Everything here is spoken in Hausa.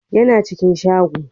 ya na cikin shago